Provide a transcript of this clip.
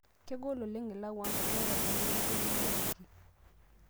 Kegol oleng' ilau ang' tenaa iyata ltung'ana likinyamaliki